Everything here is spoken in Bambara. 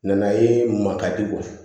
Nana ye ma ka di u ye